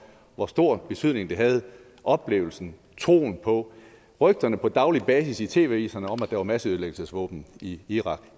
hvor stor betydning det havde med oplevelsen af troen på rygterne på daglig basis i tv avisen om at der var masseødelæggelsesvåben i irak